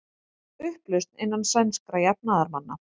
Upplausn innan sænskra jafnaðarmanna